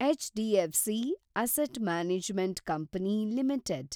HDFC asset management company limited